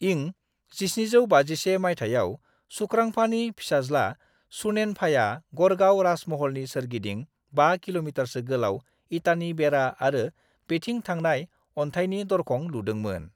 इं 1751 माइथायाव सुख्रांफानि फिसाज्ला सुनेनफाया गढ़गाव राजमहलनि सोरगिदिं 5 किल'मिटारसो गोलाव इटानि बेरा आरो बेथिं थांनाय अनथाइनि दरखं लुदोंमोन।